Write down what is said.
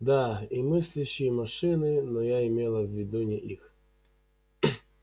да и мыслящие машины но я имела в виду не их